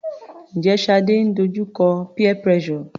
Njẹ́ Shade ń dojú kọ peer pressure?